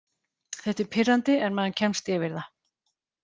Þetta er pirrandi en maður kemst yfir það.